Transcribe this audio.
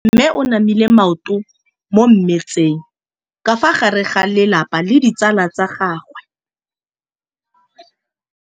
Mme o namile maoto mo mmetseng ka fa gare ga lelapa le ditsala tsa gagwe.